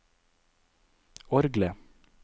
orgelet